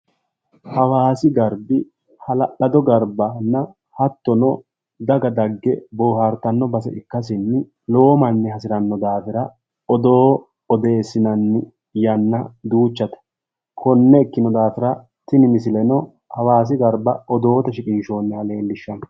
Hawaasi garbi hala'lado garbbanna hattono daga dagge boohartanno base ikkasinni lowo manni hasiranno daafira odoo odeessinanni yanna duuchate konne ikkino daafira tini misileno hawaasi garba odoote shiqinshoonniha leellishshanno